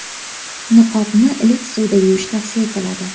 Niqobni iliq suvda yuvish tavsiya etiladi.